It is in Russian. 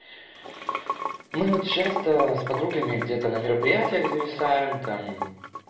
мы вот часто с подругами где-то на мероприятиях зависаем там